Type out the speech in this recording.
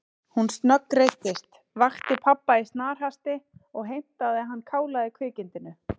Hún snöggreiddist, vakti pabba í snarhasti og heimtaði að hann kálaði kvikindinu.